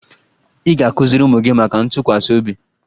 Ị ga-akụziri ụmụ gị maka ntụkwasị obi